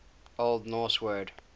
old norse word